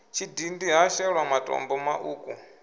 tshidindi ha shelwa matombo maṱuku